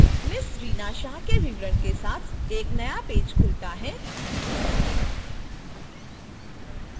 ms reena shah के विवरण के साथ एक नया पेज खुलता है